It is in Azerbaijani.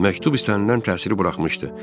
Məktub istənilən təsiri buraxmışdı.